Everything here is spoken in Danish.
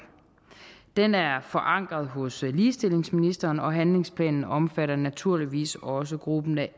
den er forankret hos ligestillingsministeren og handlingsplanen omfatter naturligvis også gruppen af